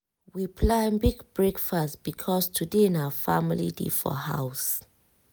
we plan big breakfast because today na family day for house.